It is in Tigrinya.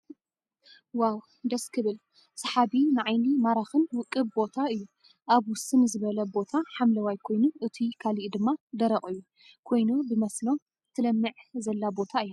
ዋው ደስ ክብል ስሓቢ ንዓየኒ ማራክን ውቅብ ብታ እዩ። ኣብ ውስን ዝበለ ቦታ ሓምለዋይ ኮይኑ እቱይ ካልኢ ድማ ደረቅ እዩ ኮይኑ ብመስኖ ትለምዕ ዘለ ቦታ እያ።